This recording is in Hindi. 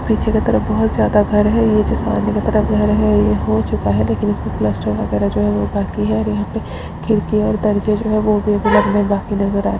पीछे की तरफ बोहोत ज्यादा घर है यह जो सामने की तरफ घर है ये हो चूका है लेकिन इसमें प्लास्टर वगेरा जो है वो बाकि है और यहाँ पे खिड़की और दरजे जो है वो भी अभी लगने बाकि --